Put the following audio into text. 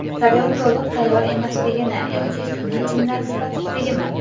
Stadion to‘liq tayyor emasligimi yoki sun’iy chimlar sifatsizligimi?